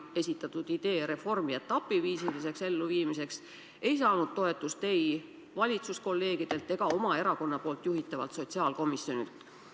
Tema esitatud idee viia reform ellu etapiviisiliselt ei saanud toetust ei kolleegidelt valitsuses ega oma erakonna juhitavalt sotsiaalkomisjonilt.